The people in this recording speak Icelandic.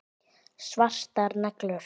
Svartar neglur.